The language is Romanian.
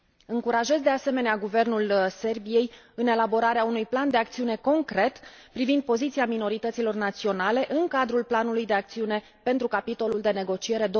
Încurajez, de asemenea, Guvernul Serbiei să elaboreze un plan de acțiune concret privind poziția minorităților naționale în cadrul planului de acțiune pentru capitolul de negociere